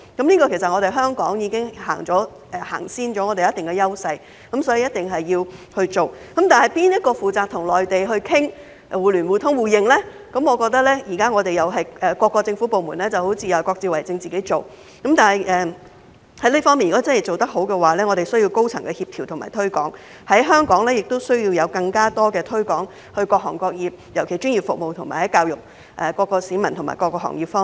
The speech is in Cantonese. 其實，香港就此已經踏前了，有一定的優勢，所以一定要落實執行，但由誰負責與內地商討互聯互通互認，我認為現時各個政府部門似乎各自為政，但在這方面如果想做得好，便需要高層的協調和推廣，在香港亦需要向各行各業進行更多推廣，特別是在專業服務及教育各市民和行業方面。